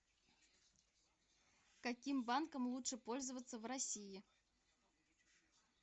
каким банком лучше пользоваться в россии